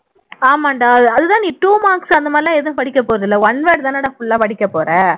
ஆமாம்டா அது தான் நீ two marks அந்த மாதிரி எல்லாம் படிக்கப்போறது இல்லை one word தானடா full ஆ படிக்கப்போற